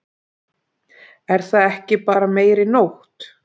Er það ekki bara meiri nótt?